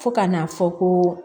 Fo ka n'a fɔ ko